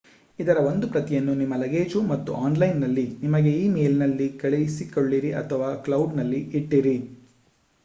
ಇದರ ಒಂದು ಪ್ರತಿಯನ್ನು ನಿಮ್ಮ ಲಗೇಜು ಮತ್ತು ಆನ್‌ಲೈನ್‍‌ನಲ್ಲಿ ನಿಮಗೇ ಈ ಮೇಲ್‍‌ನಲ್ಲಿ ಕಳಿಸಿಕೊಳ್ಳಿರಿ ಅಥವಾ ಕ್ಲೌಡ್"ನಲ್ಲಿ ಇಟ್ಟಿರಿ